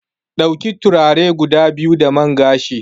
Dauki turare guda biyu da man gashi.